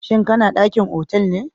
shin kana dakin otal be?